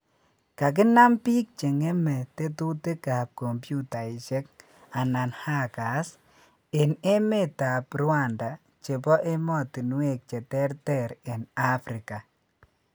Kakinan bik che ng�me tetutikab kompyutaishek anan ''hackers'' en emetab Rwanda chebo emotinwek cheter ter en Africa